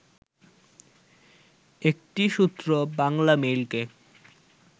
একটি সূত্র বাংলামেইলকে